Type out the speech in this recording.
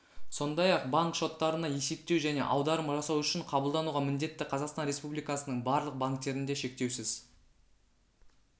сондай-ақ банк шоттарына есептеу және аударым жасау үшін қабылдануға міндетті қазақстан республикасының барлық банктерінде шектеусіз